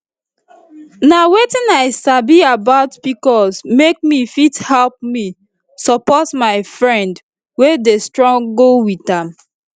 nh wetin i sabi about pcos make me fit help me support my friend wey dey struggle with am